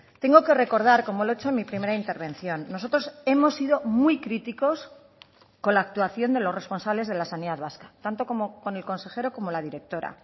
tengo que recordar como lo he hecho en mi primera intervención nosotros hemos sido muy críticos con la actuación de los responsables de la sanidad vasca tanto con el consejero como la directora